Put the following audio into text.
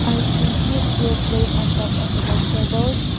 i see two steel plates on the top of the vegetables.